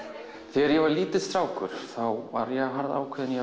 þegar ég var lítill strákur var ég harðákveðinn í